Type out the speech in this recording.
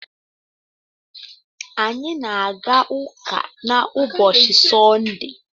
Anyị na-aga ụka na ubochi Sọnde